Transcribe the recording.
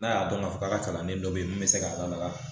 N'a y'a dɔn k'a fɔ k'a ka kalanden dɔ ye min bɛ se k'a lamaga